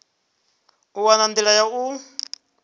u wana nḓila ya u